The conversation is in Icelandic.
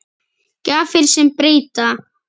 Gjafir sem breyta.